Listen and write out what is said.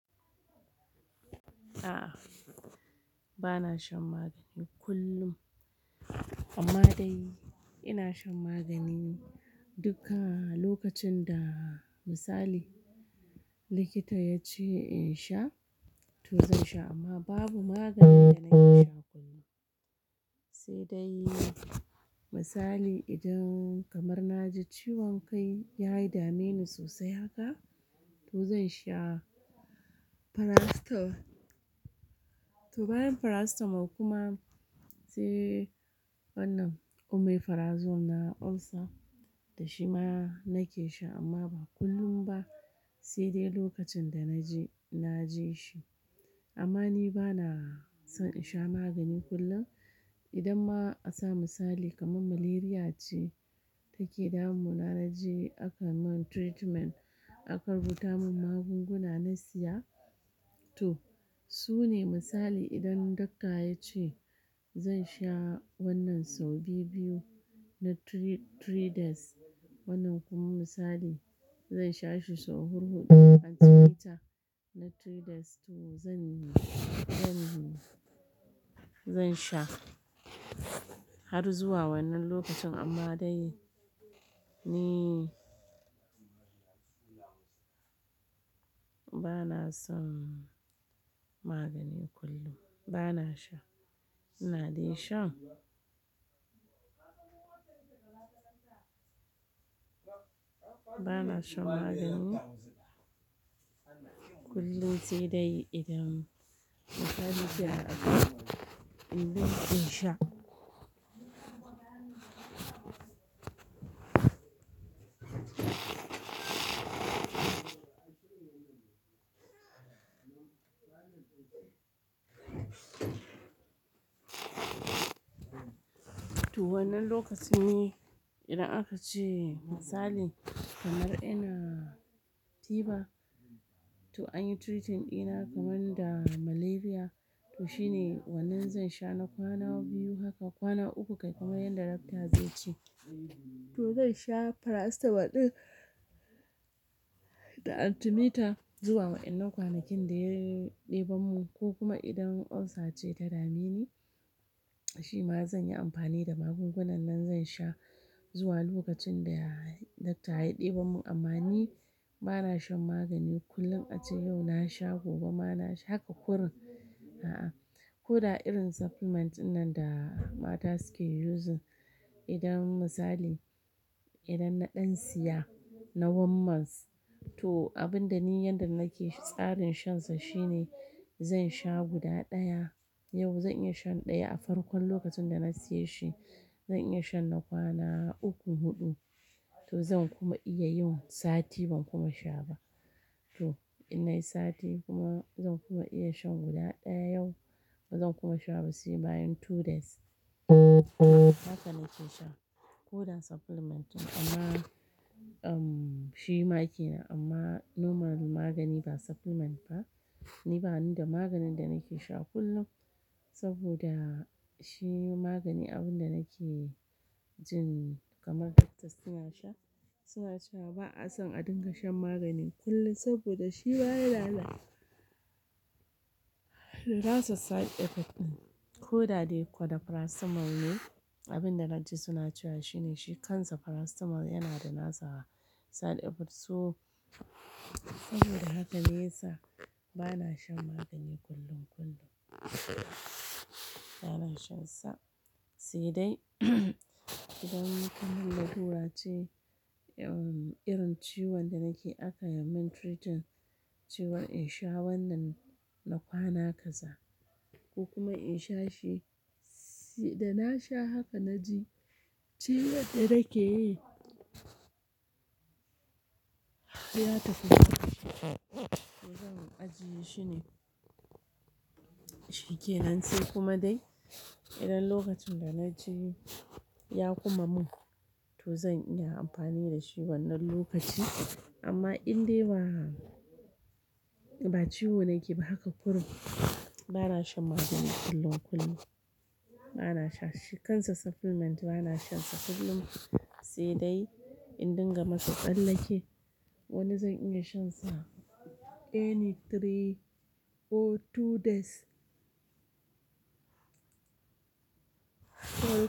A'a, ba na shan magani kullum amma dai ina shan magani duk lokacin da misali likita ya ce in sha, to zan sha. Amma babu magani da na kea sha kullum. Sai dai misali idan kamar na ji ciwon kai ya yi dame ni sosai haka, to zan sha paracetamol. To bayan paracetamol kuma sai wannan omeprazole na ulcer, da shi ma nake sha amma ba kullum ba. Sai dai lokacin da na je, na je shi. Amma ni ba na son in sha magani kullum. Idan ma a sa misali kamar malaria ce take damunmu, na je aka yi min treatment, aka rubuta mun magunguna na siya to su ne misali. Idan doctor ya ce zan sha wannan sau biyu-biyu na three, three days, wannan kuma misali zan sha shi sau huɗu-huɗu na three days, to zan, zan, zan sha har zuwa wannan lokacin. Amma dai ni ba na son magani kullum, ba na sha. Ina dai shan ba na shan magani kullum sai dai idan misali ya aka, in zan iya sha. To wannan lokacin ne idan aka ce misali kamar ina tiba, to an yi treatment ina kamar da malaria. To shi ne wannan zan sha na kwana biyu. Haka kwana uku, kai kamar yadda doctor zai ce. To zan sha paracetamol ɗaya da antimetab zuwa wa'annan kwanakin da ya ɗeban mu. Ko kuma idan ulcer ce ta dame ni, shi ma zan yi amfani da magungunan nan, zan sha zuwa lokacin da doctor ya ɗeban mun. Amma ni ba na shan magani kullum. A ce yau na sha, gobe ma na sha haka kurun. A'a, ko da irin supplement ɗinnan da mata suke using, idan misali idan na ɗan siya na one month, to abin da ni yanda nake tsarin shansa shi ne zan sha guda ɗaya. Yau zan iya shan ɗaya a farkon lokacin da na siya shi. Zan iya shan na kwana uku, huɗu. To zan kuma iya yin sati ban kuma sha ba. To ina yi sati kuma zan kuma iya shan guda ɗaya yau bazan kuma sha ba sai bayan two days. Haka nake sha ko da supplement amma, um, shi ma kenan. Amma normal magani ba supplement ba, ni bani da maganin da nake sha kullum saboda shi magani abun da nake jin kamar doctors suna sha, suna cewa ba'a son a dinga shan magani kullum saboda shi baya lalata. It has a side effect ɗin. Ko da dai ko da paracetamol ne, abin da na ji suna cewa shi ne shi kansa paracetamol yana da nasa side effects. To saboda haka ne yasa ba na shan magani kullum, kullum. Ba na shansa sai dai idan kamar larura ce irin ciwon da nake aka yi min treatment, cewa in sha wannan na kwana kaza ko kuma in sha shi. Da na sha haka na ji ciwo da yake ya tafi. To zan ajiye shi ne shike nan sai kuma dai idan lokacin da na ji ya kuma mun, to zan iya amfani da shi wannan lokaci. Amma in dai ba, ba ciwo nake ba haka kuran, ba na shan magani kullum, kullum. Ba na sha shi kansa supplement ba na shan sa kullum. Sai dai in dinga masa tsallake. Wannan zan iya shan sa any three or two days. To.